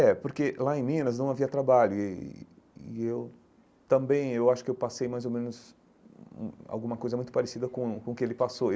É, porque lá em Minas não havia trabalho e e e eu também eu acho que eu passei mais ou menos hum alguma coisa muito parecida com com o que ele passou.